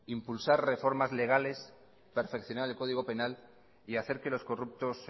impulsar reformas legales perfeccionar el código penal y hacer que los corruptos